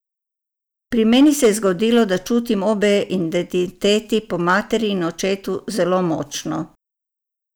Pri meni se je zgodilo, da čutim obe identiteti, po materi in očetu, zelo močno.